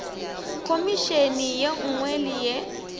khomišene ye nngwe le ye